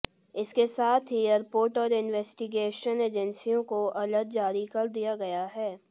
इसके साथ ही एयरपोर्ट और इंवेस्टिगेशन एजेंसियों को अलर्ट जारी कर दिया गया है